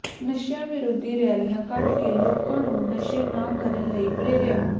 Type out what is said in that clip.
ਨਸ਼ਿਆਂ ਵਿਰੋਧੀ ਰੈਲੀਆਂ ਕੱਢ ਕੇ ਲੋਕਾਂ ਨੂੰ ਨਸ਼ੇ ਨਾ ਕਰਨ ਲਈ ਪ੍ਰੇਰਿਆ